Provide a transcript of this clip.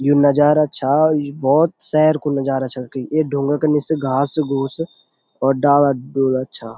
यु नजारा छा भोत सैर कु नजारा छा ये ढुंगा का निस घास घूस और डाला ब्युंला छा।